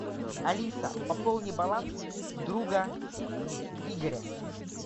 алиса пополни баланс друга игоря